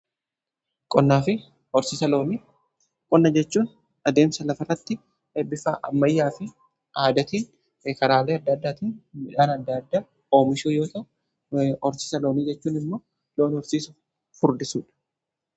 Qonna jechuun adeemsa lafa irratti bifa ammayyaa fi aadatiin karaalee adda addaatin midhaan adda addaa oomishuu yoo ta'u horsiisa loonii jechuun immoo loon horsiisuu fi furdisuudha.